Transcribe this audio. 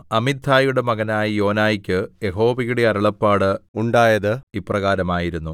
അമിത്ഥായുടെ മകനായ യോനായ്ക്ക് യഹോവയുടെ അരുളപ്പാട് ഉണ്ടായത് ഇപ്രകാരമായിരുന്നു